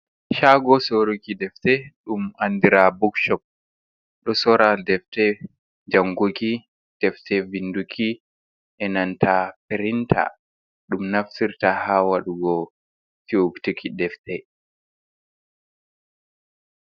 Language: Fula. Shago sorruki defte, ɗum andira bookshop. Ɗo sorra defte janguki, defte winduki, enanta printer. Ɗum naftirta ha waɗugo fitol defte.